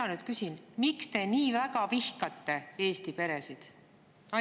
Ma nüüd küsin: miks te nii väga vihkate Eesti peresid?